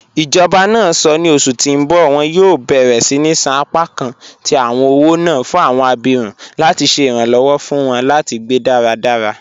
Ijọba náà sọ́ ní ọṣù tí n bọ wọn yóò bẹ̀rẹ̀ síni ṣan apakàn tí awọn ọwọ́ náà fún awọn àbírún láti ṣè iranlọwọ fún wọn láti gbẹ́ daradara.